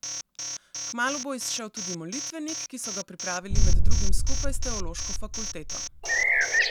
Kmalu bo izšel tudi Molitvenik, ki so ga pripravili med drugim skupaj s teološko fakulteto.